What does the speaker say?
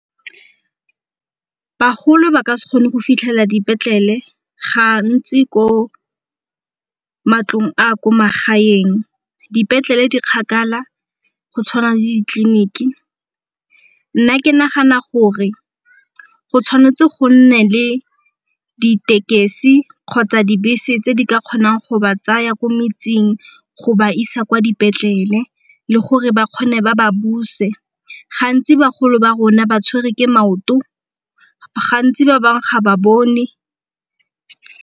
Bagolo ba ka se kgone go fitlhelela dipetlele ga ntsi ko matlong a ko magaeng dipetlele di kgakala go tshwana le ditleliniki. Nna ke nagana gore go tshwanetse go nne le ditekesi kgotsa dibese tse di ka kgonang go ba tsaya ko metseng go ba isa kwa dipetlele le gore ba kgone ba ba buse. Ga ntsi bagolo ba rona ba tshwere ke maoto gantsi ba bangwe ga ba bone.